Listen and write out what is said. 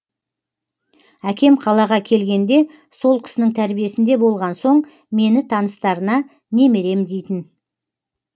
әкем қалаға келгенде сол кісінің тәрбиесінде болған соң мені таныстарына немерем дейтін